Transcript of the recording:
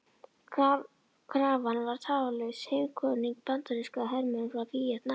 Krafan var Tafarlaus heimkvaðning bandarískra hermanna frá Víetnam.